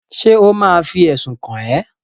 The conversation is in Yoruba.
Ṣé ò ma fi ẹ̀sùn kàn ẹ́?